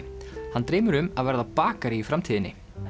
hann dreymir um að verða bakari í framtíðinni